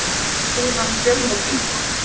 Piltur grunaður um fjölmörg innbrot